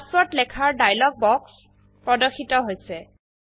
password লেখাৰ dialogue বাক্স প্ৰদৰ্শিত হৈছে160